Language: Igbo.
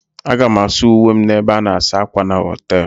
Aga m asa uwe m n'ebe a na-asa ákwà na họtel.